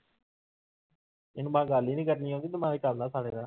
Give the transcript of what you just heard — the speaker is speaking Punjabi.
ਇਹਨੂੰ ਮੈਂ ਗੱਲ ਨੀ ਕਰਨੀ ਆਉਂਦੀ, ਦਿਮਾਗ ਚੱਲਦਾ ਸਾਲੇ ਦਾ।